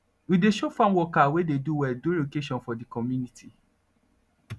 we dey show farm worker wey dey do well during occasion for de community